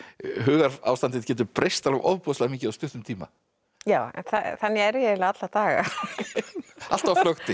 hugarástandið getur breyst ofboðslega mikið á stuttum tíma já en þannig er ég eiginlega alla daga alltaf á flökti